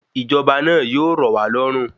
Ìjọba náà yíò rọ̀ wá lọ́rùn